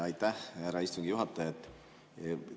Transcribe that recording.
Aitäh, härra istungi juhataja!